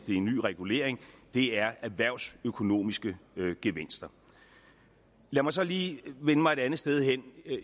i en ny regulering er erhvervsøkonomiske gevinster lad mig så lige vende mig et andet sted hen